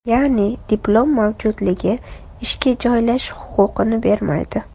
Ya’ni, diplom mavjudligi ishga joylashish huquqini bermaydi.